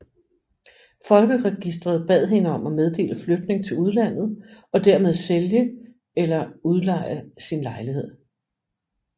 Folkeregisteret bad hende om at meddele flytning til udlandet og dermed sælge eller udleje sin lejlighed